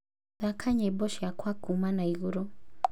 thaka nyĩmbo ciakwa kuuma na igũrũ